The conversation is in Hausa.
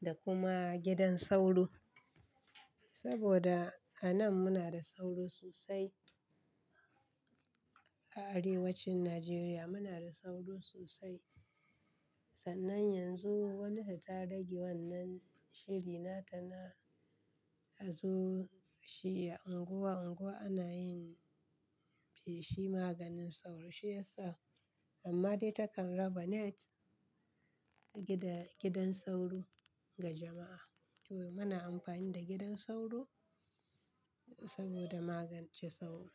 da kuma gidan sauro. Saboda a nan muna da sauro sosai. A arewacin Nijeriya muna da sauro sosai. Sannan yanzu wani ta rage wannan shiri nata na hazo shi ya unguwa unguwa ana yin feshi maganin sauro shi yasa. Amma dai takan raba net gidan sauro ga jama'a. To muna amfani da gidan sauro saboda magance sauro.